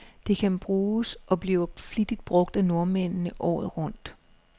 Det kan bruges, og bliver flittigt brug af nordmændene, året rundt.